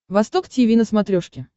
восток тиви на смотрешке